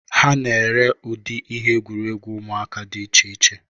Ha na-ere ụdị ihe egwuregwu ụmụaka dị iche iche.